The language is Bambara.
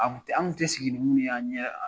An tun tɛ sigi ni minnu ye an ɲɛ